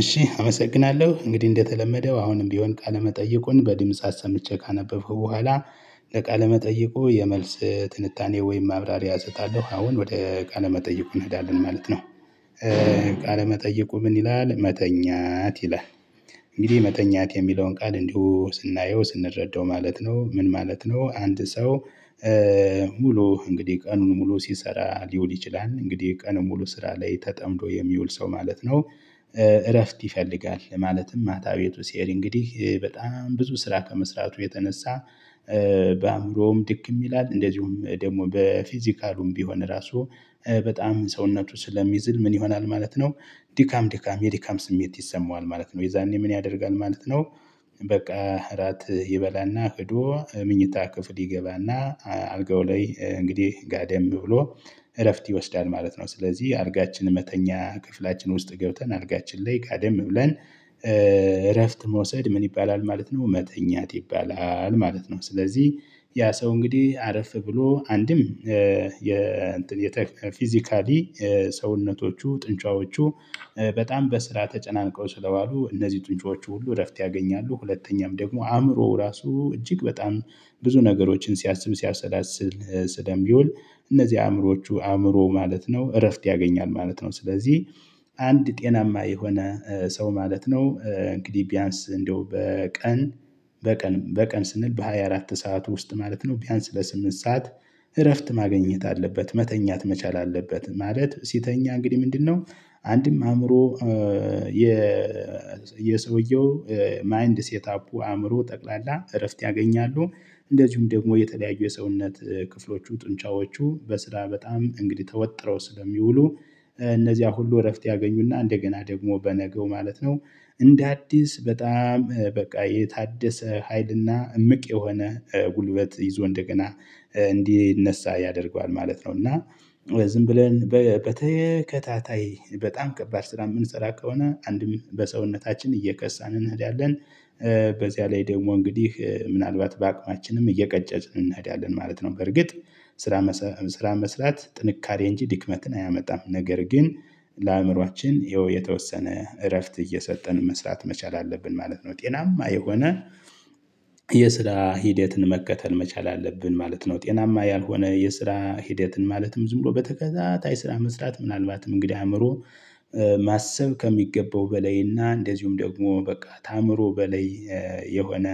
እሺ አመሰግናለሁ እንግዲህ እንደተለመደው አሁንም ቢሆን ቃለመጠይቁን በድምጽ ሰምቼ ካነበብኩ በኋላ ለቃለ መጠይቁ የመልስ ትልታኔ ወይም ማብራሪያ እሰጣለሁ አሁን ወደ ቃለ መጠይቁ እንሄዳለን ማለት ነው። ቃለ መጠይቁ ምን ይላል መተኛት ይላል? እንግዲህ መተኛት የሚለውን ቃል እንዲሁ ስናየው ስንረዳው ማለት ነው ምን ማለት ነው አንድ ሰው? ሙሉ እንግዲህ ቀኑን ሙሉ ሲሰራ ሊውል ይችላል እንግዲህ ቀኑን ሙሉ ስራ ላይ ተጠምዶ የሚውል ሰው ማለት ነው። እረፍት ይፈልጋል ማለትም ማታ ቤቱ ሲሄድ እንግዲህ በጣም ብዙ ስራ ከመስራቱ የተነሳ በአእምሮውም ድክም ይላል እንደዚሁም ደግሞ በፊዚካሉም ቢሆን ራሱ በጣም ሰውነቱ ስለሚዝል ምን ይሆናል ማለት ነው። ድካም ድካም የድካም ስሜት ይሰማዋል ማለት ነው የዛኔ ምን ያደርጋል ማለት ነው? በቃ እራት ይበላና ሄዶ ምኝታ ክፍል ይገባና አልጋው ላይ እንግዲህ ጋደም ብሎ እረፍት ይወስዳል ማለት ነው። ስለዚህ አልጋችን መተኛ ክፍላችን ውስጥ ገብተን አልጋችን ላይ ጋደም ብለን እረፍት መውሰድ ምን ይባላል ማለት ነው መተኛት ይባላል ማለት ነው። ስለዚህ ያ ሰው እንግዲህ አረፍ ብሎ አንድም የእንትን የፊዚካሊ ሰውነቶቹ ጡንጫዎቹ በጣም በስራ ተጨናንቀው ስለዋሉ እነዚህ ጡንጫዎቹ ሁሉ እረፍት ያገኛሉ ሁለተኛም ደግሞ አእምሮው ራሱ እጅግ በጣም ብዙ ነገሮችን ሲያስብ ሲያሰላስል ስለሚውል። እነዚህ አእምሮዎቹ አእምሮ ማለት ነው እረፍት ያገኛል ማለት ነው። ስለዚህ አንድ ጤናማ የሆነ ሰው ማለት ነው እንግዲህ ቢያንስ እንደው በቀን በቀን በቀን ስንል በ24 ሰዓት ውስጥ ማለት ነው ቢያንስ ለስምንት ሰዓት እረፍት ማግኘት አለበት መተኛት መቻል አለበት። ማለት ሲተኛ እንግዲህ ምንድነው አንድም አእምሮ የ የሰውየው ማይንድ ሴት አፑ አእምሮ ጠቅላላ እረፍት ያገኛሉ እንደዚሁም ደግሞ የተለያዩ የሰውነት ክፍሎቹ ጡንቻዎቹ በስራ በጣም እንግዲህ ተወጥረው ስለሚውሉ እነዚያ ሁሉ እረፍት ያገኙና እንደገና ደግሞ በነገው ማለት ነው። እንደ አዲስ በጣም በቃ የታደሰ ሀይልና እምቅ የሆነ ጉልበት ይዞ እንደገና እንዲነሳ ያደርገዋል ማለት ነው። እና ዝም ብለን በተከታታይ በጣም ከባድ ስራ የምንጸራ ከሆነ አንድም በሰውነታችን እየከሳን እንሄዳለን። በዚያ ላይ ደግሞ እንግዲህ ምናልባት በአቅማችንም እየቀጨጭን እንሄዳለን ማለት ነው። በርግጥ ስራ ስራ መስራት ጥንካሬ እንጂ ድክመትን አያመጣም ነገር ግን። ለአእምሮአችን ይኸው የተወሰነ እረፍት እየሰጠን መስራት መቻል አለብን ማለት ነው። ጤናማ የሆነ የስራ ሂደትን መከተል መቻል አለብን ማለት ነው። ጤናማ ያልሆነ የስራ ሂደትን ማለትም ዝም ብሎ በተከታታይ ስራ መስራት ምናልባትም እንግዲህ አእምሮ ማሰብ ከሚገባው በላይና እንደዚሁም ደግሞ በቃ ታምሮ በላይ የሆነ